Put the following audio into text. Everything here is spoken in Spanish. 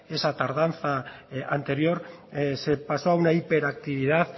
esa tardanza anterior se pasó a una hiperactividad